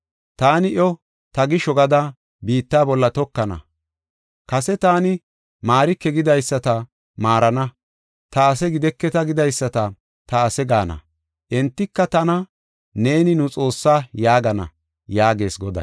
Taani iyo ta gisho gada biitta bolla tokana; Kase taani, ‘Maarike’ gidaysata maarana; ‘Ta ase gideketa’; gidaysata, ‘Ta ase’ gaana. Entika tana, ‘Neeni nu Xoossaa’ yaagana” yaagees Goday.